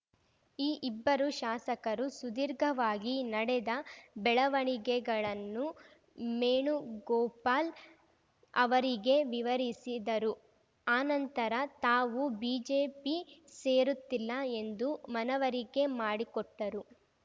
ಈ ಇಬ್ಬರು ಶಾಸಕರು ಸುದೀರ್ಘವಾಗಿ ನಡೆದ ಬೆಳವಣಿಗೆಗಳನ್ನು ಮೇಣುಗೋಪಾಲ್‌ ಅವರಿಗೆ ವಿವರಿಸಿದರು ಅನಂತರ ತಾವು ಬಿಜೆಪಿ ಸೇರುತ್ತಿಲ್ಲ ಎಂದು ಮನವರಿಕೆ ಮಾಡಿಕೊಟ್ಟರು